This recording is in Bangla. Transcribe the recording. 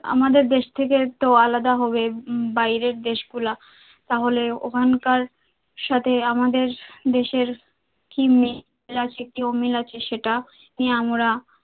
আমাদের দেশ থেকে তো আলাদা হবে বাইরের দেশ গুলা, তাহলে ওখানকার সাথে আমাদের দেশের মিল আছে কি অমিল আছে সেটা নিয়ে আমরা